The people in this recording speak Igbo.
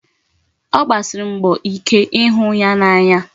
Ọ gbasiri mbọ ike ịhụ ya n'anya.